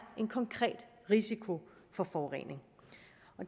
en konkret risiko for forurening